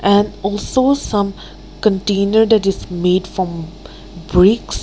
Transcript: and also some container that is made from bricks.